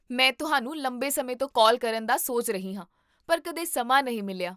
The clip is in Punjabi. ਮੈਂ ਤੁਹਾਨੂੰ ਲੰਬੇ ਸਮੇਂ ਤੋਂ ਕਾਲ ਕਰਨ ਦਾ ਸੋਚ ਰਹੀ ਹਾਂ ਪਰ ਕਦੇ ਸਮਾਂ ਨਹੀਂ ਮਿਲਿਆ